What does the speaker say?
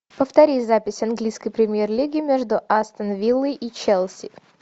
повторить запись английской премьер лиги между астон виллой и челси